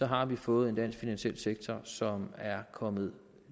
har vi fået en dansk finansiel sektor som er kommet